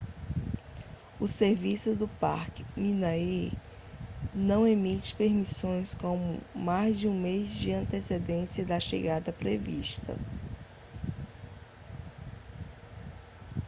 o serviço do parque minae não emite permissões com mais de um mês de antecedência da chegada prevista